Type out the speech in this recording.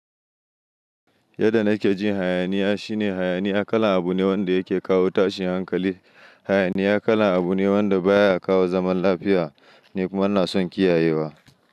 Yadda nake jin hayaniya shine hayaniya kalan abu ne wanda yake kawo tashin hankali. Hayaniya kalan abu ne wanda baya kawo zaman lafiya ni kuma ina son kiyayewa.